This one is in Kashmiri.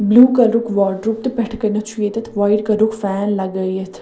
بلوٗ کلرُک واڈروٗپ تہٕ پٮ۪ٹھہٕ کنٮ۪تھ چُھ ییٚتٮ۪تھ وایٹ کلرُک فین .لگٲیِتھ